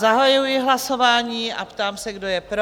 Zahajuji hlasování a ptám se, kdo je pro?